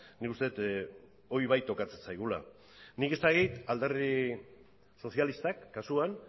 nik uste dut hori bai tokatzen zaigula nik ez dakit alderdi sozialistak kasuan